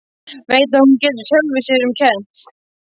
Veit að hún getur sjálfri sér um kennt.